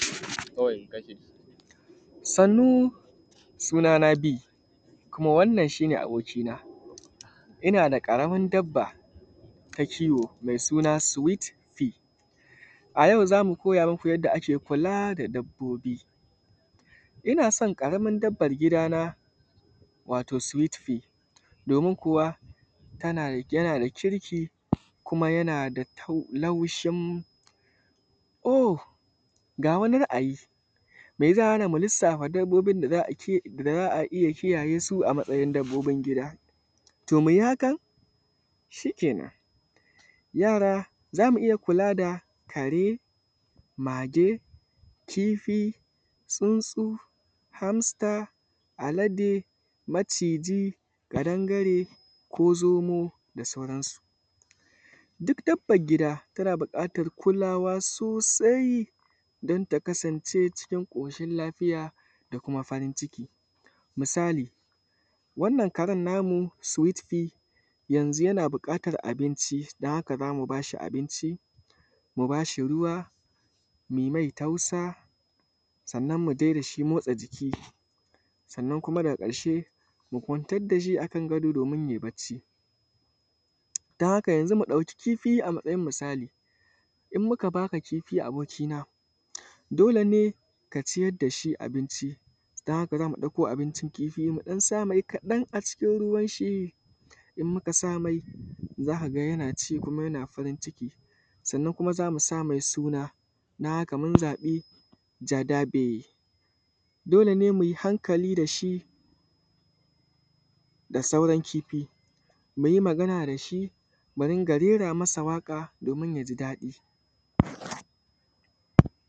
Sannu suna na Bee kuma wannan shi ne abokina ina da ƙaramar dabba ta kiwo mai suna ʃweet Bee a yau za mu koya muku yadda ake kula da dabbobi, ina san ƙaramar dabban gidana wato Sweet Bee domin kuma yana da kirki kuma yana da laushin oh ga wani ra’ayi mai zai hana mu lissafa dabbobin da za a iya kiyayesu a matsayin dabbobin gida? To mu yi hakan shi kenan, yara za mu iya kula da kare, mage, kifi, tsuntsu, hamster, alade, maciji, ƙadangare ko zomo da dai sauransu. Duk dabbar gida tana buƙatar kulawa sosai dan takasance cikin ƙoshin lafiya da kuma farinciki misali wannan karen namu Swet Bee yanzun yana buƙatar abinci dan haka za mu ba shi abinci, mu ba shi ruwa, mu yi mai tausa sannan mu je da shi motsa jiki, sannan kuma daga ƙarshe mu kwantar da shi akan gado domin yai bacci dan haka yanzun mu ɗauki kifi a matsayin misali in muka ba ka kifi abokina dole ne ka ciyar da shi abinci, dan haka za mu ɗauko abincin kifi mu ɗan sa mai kaɗan a cikin ruwan shi in muka sa mai za a ga yana ci kuma yana farinciki, sannan kuma za mu sa mai suna. Dan haka mun zaɓa Jadabe, dole ne mu yi hankali da shi da sauran kifi, mu yi magana da shi mu rinƙa rera mi shi waƙa domin ya ji daɗi.